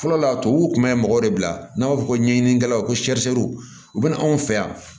Fɔlɔ la tubabuw kun bɛ mɔgɔw de bila n'an b'a fɔ ko ɲɛɲinikɛlaw ko u bɛ na anw fɛ yan